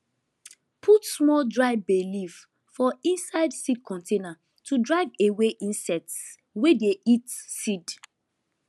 put small dry bay leaf for inside seed container to drive away insects wey dey eat seed